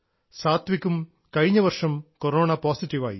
സാത്വികും കഴിഞ്ഞവർഷം കൊറോണ പോസിറ്റീവായി